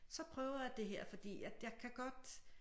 Så prøver jeg det her fordi at jeg kan godt